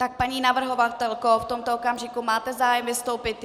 Tak paní navrhovatelko, v tomto okamžiku máte zájem vystoupit?